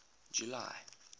july